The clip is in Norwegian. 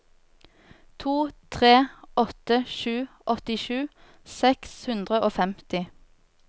to tre åtte sju åttisju seks hundre og femti